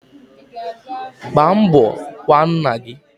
Gbaa mbo kwaa nna gi